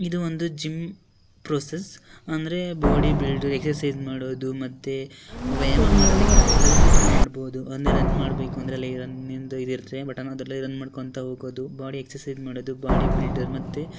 ಇದು ಒಂದು gym process ಅಂದ್ರೆ ಬಾಡಿ ಬಿಲ್ಡ್ರಿಗೆ ಎಕ್ಸರ್ಸೈಜ್ ಮಾಡೋದು ಮತ್ತೆ ವ್ಯಾಯಾಮ ಮಾಡೋದನ್ನ ಎಲ್ಲದೆ ಇದ್ರಿಂದ ಮಾಡಬಹುದು ಅನ್ನಿ ರನ್ ಮಾಡಬೇಕಂದ್ರೆ ರನ್ ಇಂದು ಇದು ಇರುತ್ತೆ ಬಟನ್ ಅದ್ರಲ್ಲೆ ರನ್ ಮಾಡಕೊಂತ್ತ ಹೋಗೋದು ಬಾಡಿ ಎಕ್ಸರ್ಸೈಜ್ ಮಾಡೋದು ಬಾಡಿ ಬಿಲ್ದರ್ ಮತ್ತೆ --